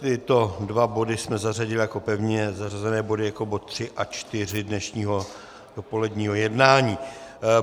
Tyto dva body jsme zařadili jako pevně zařazené body jako body 3 a 4 dnešního dopoledního jednání.